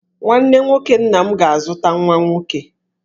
Nwanne nwoke nna m ga-azụta nwa nwoke.